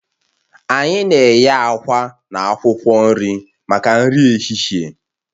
Anyị na-eghe àkwá na akwụkwọ nri maka nri ehihie